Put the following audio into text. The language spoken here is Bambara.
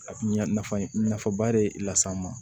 Ɲa nafa nafaba de las'an ma